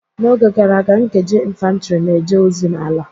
N'oge gara aga, nkeji lnfantri na-eje ozi n'ala.